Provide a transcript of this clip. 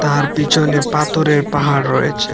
আর পিছনে পাথরের পাহাড় রয়েছে।